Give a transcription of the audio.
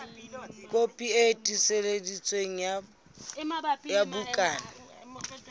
kopi e tiiseditsweng ya bukana